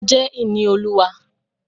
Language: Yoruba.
Ọmọ jẹ́ ìní Olúwa.